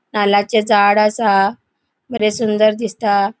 नाल्लाचे झाड असा. बरे सुंदर दिसता.